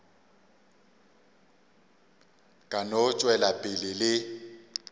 ka no tšwela pele le